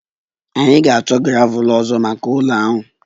Anyị ga-achọ gravel ọzọ maka ụlọ ahụ